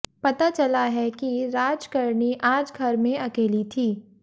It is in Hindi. पता चला है कि राजकरनी आज घर में अकेली थी